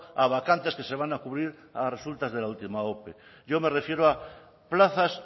a vacantes que se van a cubrir a resultas de la última ope yo me refiero a plazas